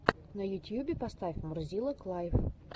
на ютьюбе поставь мурзилок лайв